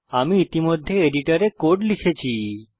আমি ইতিমধ্যে এডিটরে কোড লিখেছি